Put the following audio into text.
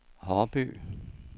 Haarby